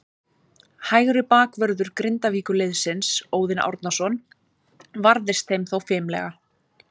Hægri bakvörður Grindavíkurliðsins, Óðinn Árnason, varðist þeim þó fimlega.